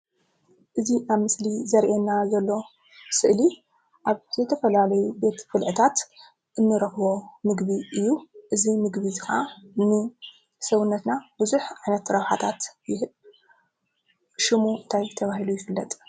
እዚ ኣብ ምስሊ ዘርእየና ዘሎ ስእሊ ኣብ ዝተፈላለዩ ቤት ብልዕታት እንረክቦ ምግቢ እዩ፡፡ እዚ ምግቢ እዚ ኸዓ ንሰውነትና ቡዙሕ ዓይነት ረብሓታት ይህብ፡፡ ሹሙ እንታይ ተባሂሉ ይፍለጥ?